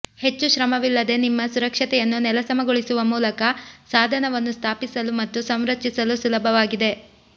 ಹೆಚ್ಚು ಶ್ರಮವಿಲ್ಲದೆ ನಿಮ್ಮ ಸುರಕ್ಷತೆಯನ್ನು ನೆಲಸಮಗೊಳಿಸುವ ಮೂಲಕ ಸಾಧನವನ್ನು ಸ್ಥಾಪಿಸಲು ಮತ್ತು ಸಂರಚಿಸಲು ಸುಲಭವಾಗಿದೆ